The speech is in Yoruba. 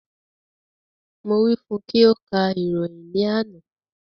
Mo wí fún ùn kí o ka ìròyìn ní àná